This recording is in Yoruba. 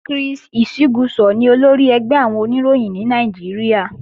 Chris Isiguzo ni olórí ẹgbẹ́ àwọn Oníròyìn ní Nàìjíríà